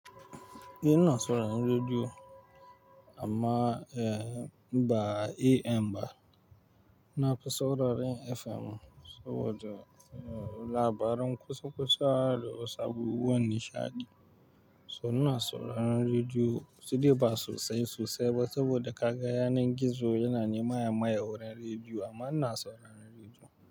Ina sauraren rediyo amma eh ba AM ba. Nafi sauraren FM, saboda labaran kusa-kusa da wasu abubuwan nishaɗi. To ina sauraron rediyo, sai dai ba sosai sosai ba saboda kaga yanar gizo yana nema maye wurin rediyo amma ina sauraron rediyo.